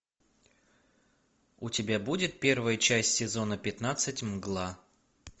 у тебя будет первая часть сезона пятнадцать мгла